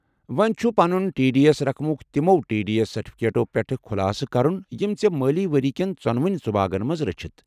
وونہِ چُھ پنُن ٹی ڈی ایس رقمُك تِمو ٹی ڈی ایس سرٹِفِكیٹو پیٹھہٕ خلاصہٕ كرُن یِم ژے٘ مٲلی ورییہِ كین ژونونی ژُباگن منز رچیتھ ۔